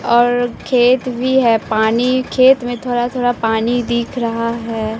और खेत भी है पानी खेत में थोरा थोरा पानी दिख रहा है।